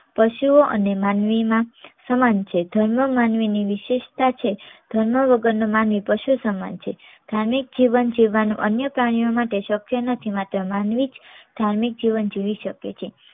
પશુઓ અને માનવીમાં સમાન છે. ધર્મ માનવી ની વિશેષતા છે. ધર્મ વગર નો માનવી પશુ સમાન છે. ધાર્મિક જીવન જીવવા નું અન્ય પ્રાણીઓ માટે શક્ય નથી માત્ર માનવી જ ધાર્મિક જીવન જીવી શકે છે.